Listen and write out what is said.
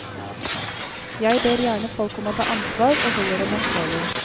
Jeg ber gjerne folk om å ta ansvar, og holder dem ansvarlige.